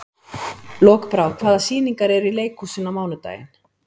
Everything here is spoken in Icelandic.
Lokbrá, hvaða sýningar eru í leikhúsinu á mánudaginn?